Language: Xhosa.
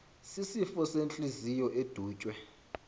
sisifo sentliziyo edutywe